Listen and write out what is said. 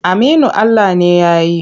Aminu Ala ne ya yi.